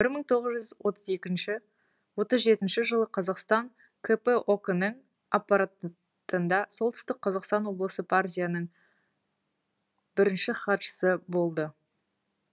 бір мың тоғыз жүз отыз екінші отыз жетінші жылы қазақстан кп ок нің аппаратында солтүстік қазақстан облысы партия бірінші хатшысы болды